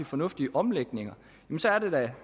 fornuftige omlægninger er det da